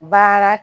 Baara